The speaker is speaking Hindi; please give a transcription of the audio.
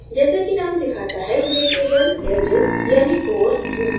जैसे कि name दिखाता है यह केवल edges यानि कोर ढूँढता है